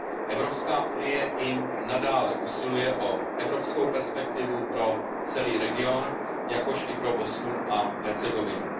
EU i nadále usiluje o evropskou perspektivu pro celý region, jakož i pro Bosnu a Hercegovinu.